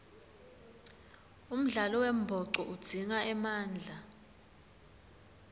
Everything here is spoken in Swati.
umdlalo wembhoco udzinga emandla